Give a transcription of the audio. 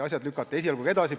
Asjad lükati esialgu edasi.